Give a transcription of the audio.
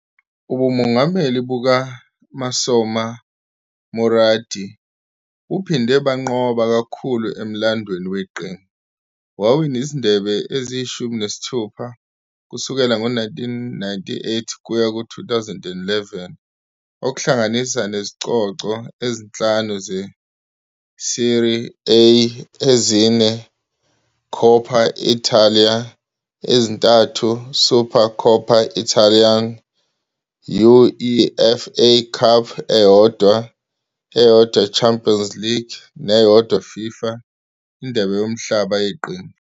Ubumongameli bukaMassimo Moratti buphinde banqoba kakhulu emlandweni weqembu, wawina izindebe eziyi-16 kusukela ngo-1998 kuya ku-2011 okuhlanganisa nezicoco ezinhlanu zeSerie A, ezine Coppa Italia, ezintathu Supercoppa Italiana, UEFA Cup eyodwa, eyodwa Champions League, neyodwa FIFA INdebe Yomhlaba Yeqembu.